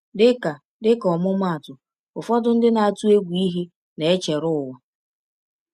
Dịka Dịka ọmụmaatụ, ụfọdụ ndị na-atụ egwu ihe na-echere ụwa.